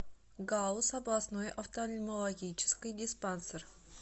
гауз областной офтальмологический диспансер